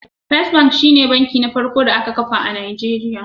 First bank shine banki na farko da aka kafa a Najeriya